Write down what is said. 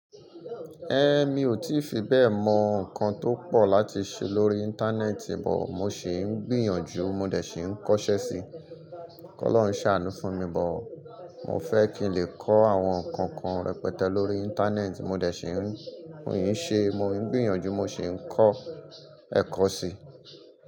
Ẹ̀, mi ò tí fi bẹ́ẹ̀ mọ nǹkan tó pọ̀ láti ṣe lórí Íńtánẹ́ẹ̀tì but, mo sì ń gbìyànjú mo dẹ̀ ṣe é kọ́ṣẹ́ síi. Ọlọ́run ṣàánú fún mi but, mo fẹ́ kí n lè kọ́ àwọn nǹkan kan rẹpẹtẹ lórí Íńtánẹ́ẹ̀tì, mo dẹ̀ ṣiń, mo yìí ṣe, mo ń gbìyànjú mo sì ń kọ́ ẹ̀kọ́ síi.